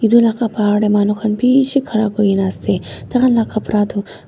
etu laga bahar te manu khan bisi khara kori kina ase tar khan laga kapara tu--